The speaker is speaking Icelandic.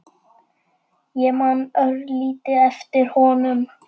Ég man örlítið eftir honum.